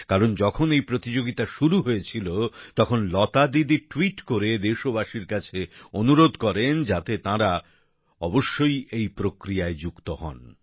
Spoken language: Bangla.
কারণ যখন এই প্রতিযোগিতা শুরু হয়েছিল তখন লতা দিদি ট্যুইট করে দেশবাসীর কাছে অনুরোধ করেন যাতে তাঁরা অবশ্যই এই প্রক্রিয়ায় যুক্ত হন